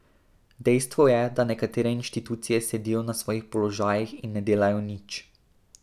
Dejstvo je, da nekatere inštitucije sedijo na svojih položajih in ne delajo nič.